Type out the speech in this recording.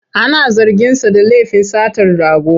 Ana zarginsa da lafin satar rago.